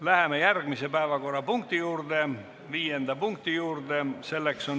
Läheme järgmise, viienda päevakorrapunkti juurde.